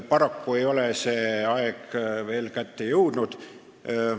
Paraku ei ole see aeg veel kätte jõudnud.